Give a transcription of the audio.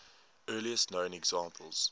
earliest known examples